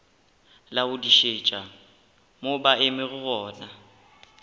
laodišetša mo ba emego gona